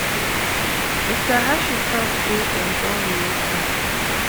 mr hashi tok say dem don reopen